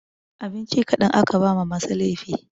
Abinci kaɗan ake ba ma masu laifi